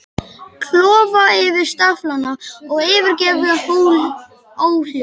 Klofa yfir staflana og yfirgefa óhljóðin.